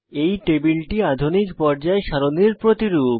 এই টেবিলটি আধুনিক পর্যায় সারণীর প্রতিরূপ